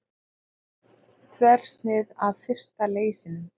Þversnið af fyrsta leysinum.